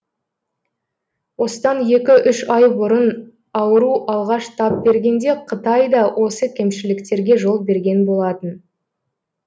осыдан екі үш ай бұрын ауру алғаш тап бергенде қытай да осы кемшіліктерге жол берген болатын